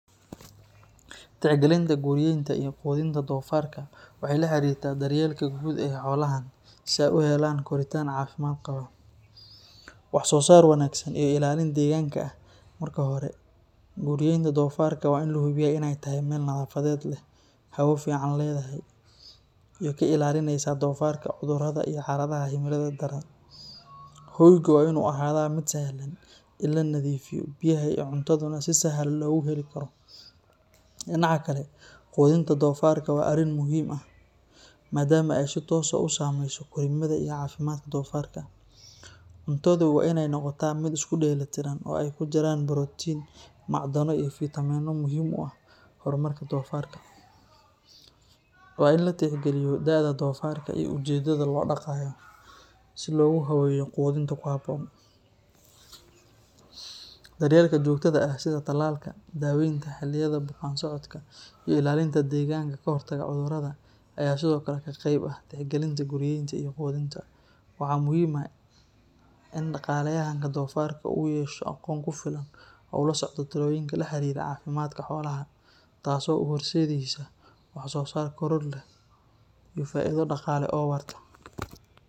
Tixgalinta guryenta iyo qudinta dofaarka waxay la xiriirtaa daryeelka guud ee xoolahan si ay u helaan koritaan caafimaad qaba, wax-soo-saar wanaagsan, iyo ilaalin deegaanka ah. Marka hore, guryenta dofaarka waa in la hubiyaa in ay tahay meel nadaafadeed leh, hawo fiican leedahay, iyo ka ilaalinaysa dofaarka cudurrada iyo xaaladaha cimilada daran. Hoyga waa in uu ahaadaa mid sahlan in la nadiifiyo, biyaha iyo cuntaduna si sahal ah loogu heli karo. Dhinaca kale, qudinta dofaarka waa arrin muhiim ah maadaama ay si toos ah u saameyso korriimada iyo caafimaadka dofaarka. Cuntadu waa in ay noqotaa mid isku dheelitiran oo ay ku jiraan borotiin, macdano iyo fiitamiinno muhiim u ah horumarka dofaarka. Waa in la tixgaliyo da’da dofaarka iyo ujeedada loo dhaqayo, si loogu habeeyo quudinta ku habboon. Daryeelka joogtada ah sida talaalka, daaweynta xilliyada bukaan-socodka, iyo ilaalinta deegaanka ka hortagga cudurrada ayaa sidoo kale qayb ka ah tixgalinta guryenta iyo qudinta. Waxaa muhiim ah in dhaqaaleyahanka dofaarka uu yeesho aqoon ku filan oo uu la socdo talooyinka la xiriira caafimaadka xoolaha, taas oo u horseedaysa wax-soo-saar koror leh iyo faa’iido dhaqaale oo waarta.